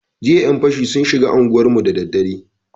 Jiya yan fashi sun shiga anguwarmu da dare.